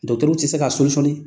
tɛ se ka a